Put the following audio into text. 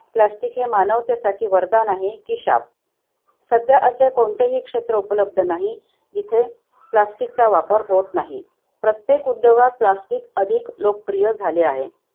Plastic हे मानवतेसाठी वरदान आहे की शाप? सध्या असे कोणतेही क्षेत्र उपलब्ध नाही. जिथे plastic चा वापर होत नाही. प्रत्येक उद्योगात plastic अधिक लोकप्रिय झाले आहे.